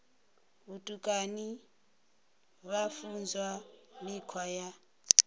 vhutukani vha funzwa mikhwa ya